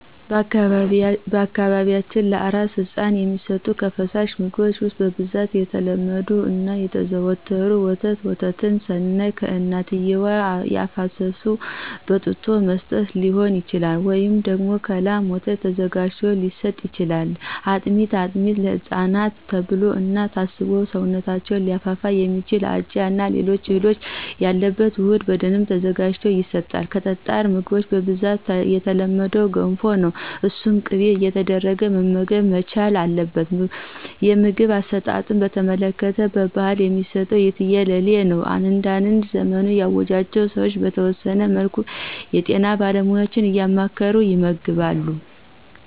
በአካባቢያችን ለአራስ ህፃን የሚሰጡ ከፈሳሽ ምግቦች ውስጥ በብዛት የተለመዱት እና የተዘወተሩት፦ ፩) ወተት፦ ወተትን ስናይ ከእናትየዋ አፍስሰው በጡጦ መስጠት ሊሆን ይችላል፤ ወይም ደግሞ ከላም ወተት ተዘጋጅቶ ሊሰጥ ይችላል። ፪) አጥሜት፦ አጥሜት ለህፃናት ተብሎ እና ታስቦ ሰውነታቸውን ሊያፋፋ የሚችል አጃ እና ሌሎች እህሎች ያሉበት ውህድ በደንብ ተዘጋጅቶ ይሰጣል። ከጠጣር ምግቦች በብዛት የተለመደው ገንፎ ነው እሱን በቅቤ እየተደረገ መመገብ መቻል አለበት። የምግብ አሰጣጥን በተመለከተ በባህል የሚሰጠው የትየለሌ ነው። አንዳንድ ዘመኑ ያዋጃቸው ሰዎች በተወሰነ መልኩ የጤና ባለሙያዎችን እያማከሩ ይመግባሉ።